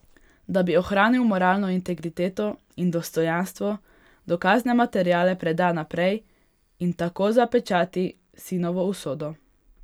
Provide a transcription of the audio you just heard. Da bi ohranil moralno integriteto in dostojanstvo, dokazne materiale preda naprej in tako zapečati sinovo usodo.